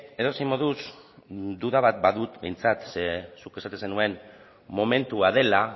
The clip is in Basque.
edozein moduz duda bat badut behintzat ze zuk esaten zenuen momentua dela